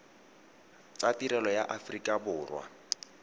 tsa tirelo ya aforika borwa